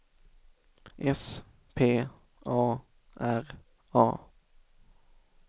S P A R A